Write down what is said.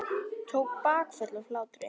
Tók bakföll af hlátri.